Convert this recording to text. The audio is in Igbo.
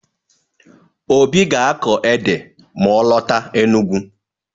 Obi ga-akọ ede ma ọ lọta Enugwu.